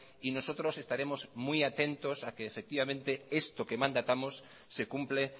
y nosotros estaremos muy atentos a que efectivamente esto que mandatamos se cumple